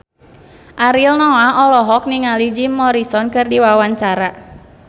Ariel Noah olohok ningali Jim Morrison keur diwawancara